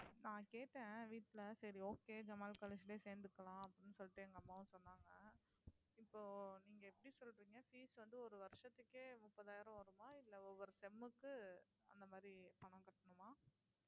நான் கேட்டேன் வீட்டுல சரி okay ஜமால் college லயே சேர்ந்துக்கலாம் அப்படின்னு சொல்லிட்டு எங்க அம்மாவும் சொன்னாங்க இப்போ நீங்க எப்படி சொல்றீங்க fees வந்து ஒரு வருஷத்துக்கே முப்பதாயிரம் வருமா இல்லை ஒவ்வொரு sem க்கு அந்த மாதிரி பணம் கட்டணுமா